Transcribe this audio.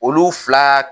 Olu fila